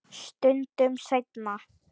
Stundum seinna.